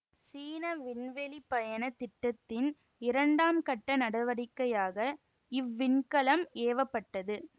சீன விண்வெளிப்பயணத் திட்டத்தின் இரண்டாம் கட்ட நடவடிக்கையாக இவ்விண்கலம் ஏவ பட்டது